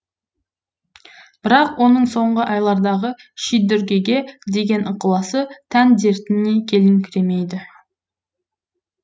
бірақ оның соңғы айлардағы шидүргеге деген ықыласы тән дертіне келіңкіремейді